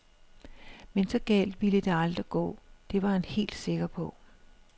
Men så galt ville det aldrig gå, det var han helt sikker på.